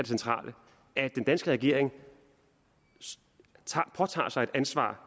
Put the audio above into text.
centrale at den danske regering påtager sig et ansvar